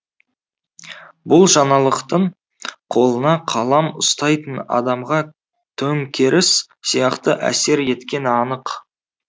бұл жаңалықтың қолына қалам ұстайтын адамға төңкеріс сияқты әсер еткені анық